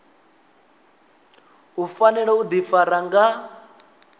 u fanela u ḓifara nga